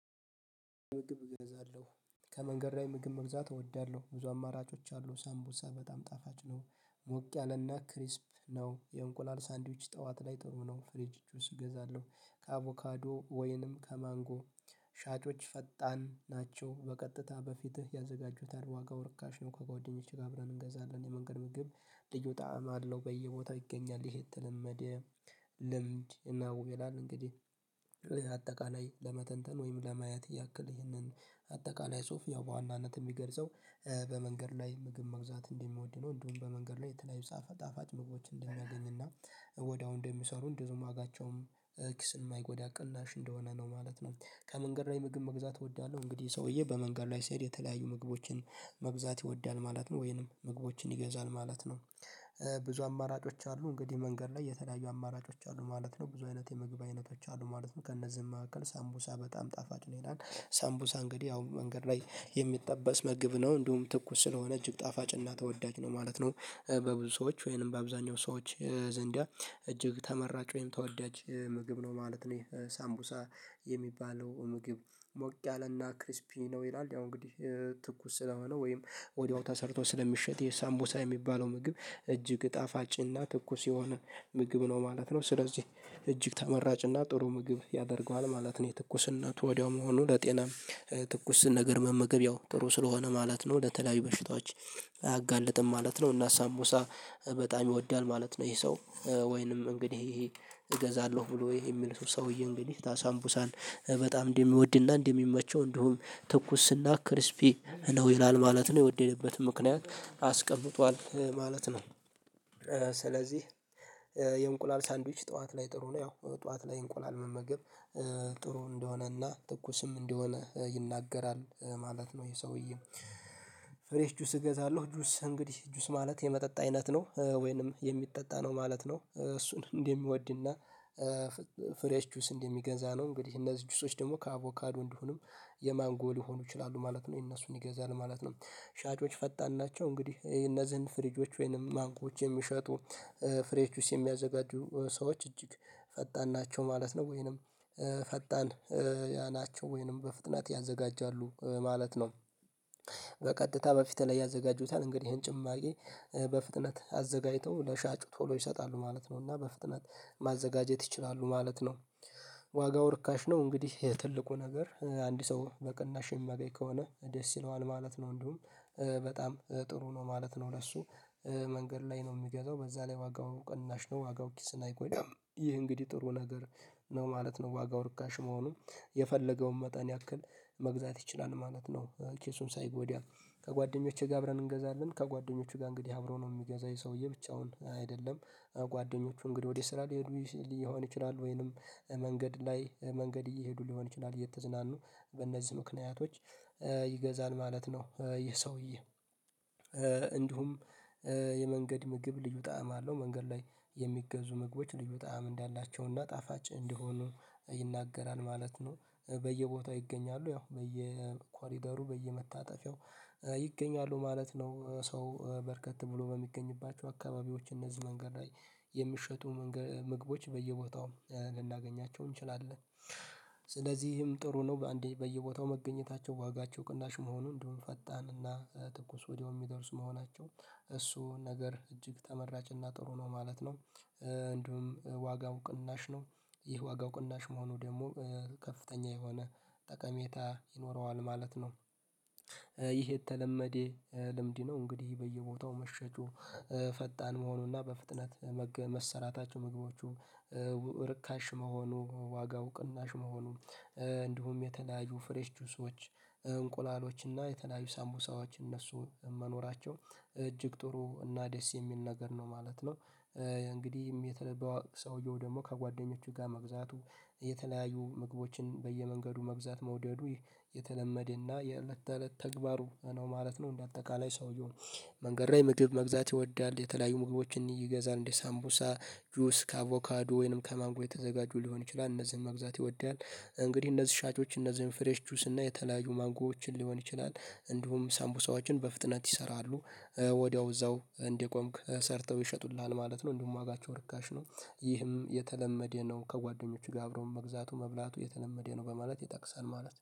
ምግብ እገዛለሁ ከመንገድ ላይ ምግብ መግዛት እወዳለሁ ብዙ አማራጮች አሉ ሳምቦሳ በጣም ጣፋጭ ነው። ሞቅ ያለና ክሪስፕ ነው የእንቁላል ሳንድዊች ጠዋት ላይ ጥሩ ነው። ፍሬጅቹ ስገዛለሁ ከአቮካዶ ወይንም ከማንጎ። ሻጮች ፈጣን ናቸው በቀጥታ በፊትህ ያዘጋጁታል ዋጋው ርካሽ ነው። ከጓደኞቼ ጋር አብረን እንገዛለን የመንገድ ምግብ ልዩ ጣዕም አለው በየቦታው ይገኛል። ይሄ የተለመደ ልምድ እና ውቤ ላለ እንግዲህ አጠቃላይ ለመተንተን ወይም ለማየት ያክል ይህንን። አጠቃላይ ሶፍ ያው በዋናነት የሚገርጸው በመንገድ ላይ ምግብ መግዛት እንደሚወድ ነው። እንዲሁም በመንገድ ላይ የተለያዩ ጣፋጭ ምግቦችን እንደሚያገኝና ወዲያው እንደሚሰሩ እንደዚሁም ዋጋቸውም ኪስ የማይጎዳ ቅናሽ እንደሆነ ነው ማለት ነው። ከመንገድ ላይ ምግብ መግዛት እወዳለሁ እንግዲህ ሰውዬ በመንገድ ላይ ሲሄድ የተለያዩ ምግቦችን መግዛት ይወዳል ማለት ነው ወይንም ምግቦችን ይገዛል ማለት ነው። ብዙ አማራጮች አሉ እንግዲህ መንገድ ላይ የተለያዩ አማራጮች አሉ ማለት ነው ብዙ አይነት የምግብት አይነቶች አሉ ማለት ነው። ከእነዚህም መካከል ሳምቡሳ በጣም ጣፋጭ ነው ይላል። ሳምቡሳ እንግዲህ አሁን መንገድ ላይ የሚጠበስ ምግብ ነው እንዲሁም ትኩስ ስለሆነ ጣፋጭና ተወዳጅ ነው ማለት ነው። በብዙ ሰዎች ወይንም በአብዛኛው ሰዎች ዘንዳ እጅግ ተመራጭ ወይም ተወዳጅ ምግብ ነው ማለት ነው። ሳምቡሳ የሚባለው ምግብ ሞቅ ያለና ክሪስፒ ነው ይላል። ያው እንግዲህ ትኩስ ስለሆነ ወይም ወዲያው ተሰርቷል ስለሚሸጥ የሳምቦሳ የሚባለው ምግብ እጅግ ጣፋጭና ትኩስ የሆነ ምግብ ነው ማለት ነው። ስለዚህ እጅግ ተመራጭና ጥሩ ምግብ ያደርገዋል ማለት ነው። የትኩስነቱ ወዲያው መሆኑ ለጤና ትኩስ ነገር መመገብ ያው ጥሩ ስለሆነ ማለት ነው። ለተለያዩ በሽታዎች አያጋልጥም ማለት ነው። እና ሳቡሳ በጣም ይወዳል ማለት ነው። ይሄ ሰው ወይንም እንግዲህ እገዛለሁ ብሎ የሚል ሰውዬ እንግዲህ ሳምቡሳን በጣም እንዲህ የሚወድና እንዲህ የሚመቸው እንዲሁም ትኩስና ክሪስፒ ነው ይላል ማለት ነው የወደደበትም ምክንያት አስቀምጧል ማለት ነው። ስለዚህ የእንቁላል ሳንድዊች ጠዋት ላይ ጥሩ ነው። ያው ጠዋት ላይ እንቁላል መመገብ ጥሩ እንደሆነ እና ትኩስም እንደሆነ ይናገራል ማለት ነው። ይሄ ሰውዬ ፍሬሽ ጁስ እገዛለሁ ጁስ እንግዲህ ጁስ ማለት የመጠጥ አይነት ነው ወይንም የሚጠጣ ነው ማለት ነው። እሱን እንደሚወድና ፍሬሽ ጁስ እንደሚገዛ ነው እንግዲህ እነዚህ ጁሶች ደግሞ ከአቮካዶ እንዲሆኑም የማንጎ ሊሆኑ ይችላሉ ማለት ነው የእነሱን ይገዛል ማለት ነው። ሻጮች ፈጣን ናቸው እንግዲህ እነዚህን ፍሪጆች ወይንም ማንጎዎች የሚሸጡ ፍሬሽ ጁስ የሚያዘጋጁ ሰዎች እጅግ ፈጣን ናቸው ማለት ነው። ወይንም ፈጣን ያ ናቸው ወይንም በፍጥነት ያዘጋጃሉ ማለት ነው። በቀጥታ በፊት ላይ ያዘጋጁታል እንግዲህ ይሄን ጭማቂ በፍጥነት አዘጋጅተው ለሻጩ ቶሎ ይሰጣሉ ማለት ነው። እና በፍጥነት ማዘጋጀት ይችላሉ ማለት ነው። ዋጋው ርካሽ ነው እንግዲህ የትልቁ ነገር አንድ ሰው በቅናሽ የሚያገኝ ከሆነ ደስ ይለዋል ማለት ነው። እንዲሁም በጣም ጥሩ ነው ማለት ነው። ለሱ መንገድ ላይ ነው የሚገዛው በዛ ላይ ዋጋው ቅናሽ ነው ዋጋው ኪስን አይጎዳም ይህ እንግዲህ ጥሩ ነገር ነው ማለት ነው። ዋጋው ርካሽ መሆኑን የፈለገውን መጠን ያክል መግዛት ይችላል ማለት ነው። ኪሱን ሳይጎዳ ከጓደኞቼ ጋር አብረን እንገዛለን ከጓደኞቹ ጋር እንግዲህ አብሮ ነው የሚገዛኝ ይሄ ሰውዬ ብቻውን አይደለም። ጓደኞቹ እንግዲህ ወደ ስራ ሊሄዱ ሊሆን ይችላል ወይንም መንገድ ላይ መንገድ እየሄዱ ሊሆን ይችላል እየተዝናኑ በእነዚህ ምክንያቶች ይገዛል ማለት ነው። ይህ ሰውዬ እንዲሁም የመንገድ ምግብ ልዩ ጣዕም አለው መንገድ ላይ የሚገዙ ምግቦች ልዩ ጣዕም እንዳላቸውና ጣፋጭ እንደሆኑ ይናገራል ማለት ነው። በየቦታው ይገኛሉ ያው በየኳሊደሩ በየመታጠፊያው ይገኛሉ ማለት ነው። ሰው በርከት ብሎ በሚገኝባቸው አካባቢዎች እነዚህ መንገድ ላይ የሚሸጡ ምግቦች በየቦታው ልናገኛቸው እንችላለን። ስለዚህም ጥሩ ነው በአንዴ በየቦታው መገኘታቸው ዋጋቸው ቅናሽ መሆኑን እንደውም ፈጣንና ትኩስ ወዲያው የሚደርሱ መሆናቸው እሱ ነገር እጅግ ተመራጭና ጥሩ ነው ማለት ነው። እንደውም ዋጋው ቅናሽ ነው። ይህ ዋጋው ቅናሽ መሆኑ ደግሞ ከፍተኛ የሆነ ጠቀሜታ ይኖረዋል ማለት ነው። ይህ የተለመደ ልምድ ነው። እንግዲህ በየቦታው መሸጩ ፈጣን መሆኑና በፍጥነት መሰራታቸው ምግቦቹ ርካሽ መሆኑ ዋጋው ቅናሽ መሆኑ እንዲሁም የተለያዩ ፍሬሽ ጁሶች እንቁላሎች የተለያዩ ሳቡሳዎች እነሱ መኖራቸው እጅግ ጥሩ እና ደስ የሚል ነገር ነው ማለት ነው። እንግዲህ የተለየ ሰውየው ደግሞ ከጓደኞቹ ጋር መግዛቱ የተለያዩ ምግቦችን በየመንገዱ መብዛት መውደዱ የተለመደና የእለት ተእለት ተግባሩ ነው ማለት ነው። እንደ አጠቃላይ ሰውየው መንገድ ላይ ምግብ መግዛት ይወዳል የተለያዩ ሙግቦችን ይገዛል እንዴ ሳምቡሳ ጁስ ከአቮካዱ ወይንም ከማንጎ የተዘጋጁ ሊሆን ይችላል እነዚህን መግዛት ይወዳል። እንግዲህ እነዚህ ሻጮች እነዚህን ፍሬሽ ቹስ እና የተለያዩ ማጎዎችን ሊሆን ይችላል። እንዲሁም ሳምቡሳዎችን በፍጥነት ይሰራሉ ወዲያው እዛው እንደቆምክ ሰርተው ይሸጡልሃል ማለት ነው። እንዲሁም ዋጋቸው ርካሽ ነው። ይህም የተለመደ ነው ከጓደኞቹ ጋር አብሮ መግዛቱ መብላቱ የተለመደ ነው በማለት ይጠቅሳል ማለት ነው